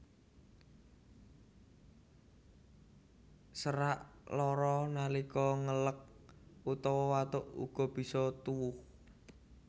Serak lara nalika ngeleg utawa watuk uga bisa tuwuh